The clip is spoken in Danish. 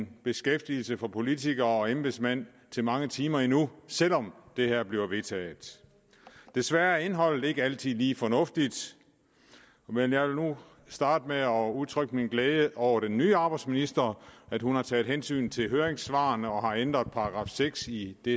beskæftigelse for politikere og embedsmænd til mange timer endnu selv om det her bliver vedtaget desværre er indholdet ikke altid lige fornuftigt men jeg vil nu starte med at udtrykke min glæde over at den nye arbejdsminister har taget hensyn til høringssvarene og ændret § seks i det